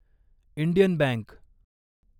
Indian bank